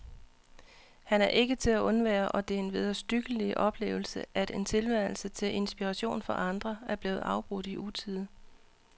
Han er ikke til at undvære, og det er en vederstyggelig oplevelse, at en tilværelse, til inspiration for andre, er blevet afbrudt i utide.